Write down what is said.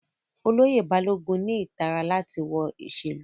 Oloye Balogun ni itara lati wọ iṣelu